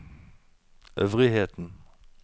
øvrigheten